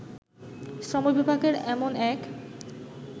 শ্রমবিভাগের এমন এক